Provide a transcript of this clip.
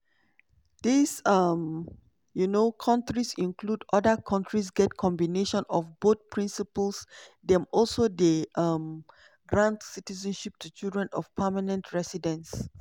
these um um kontris include: oda kontris get combination of both principles dem also dey um grant citizenship to children of permanent residents.